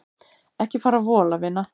Ekki fara að vola vina mín.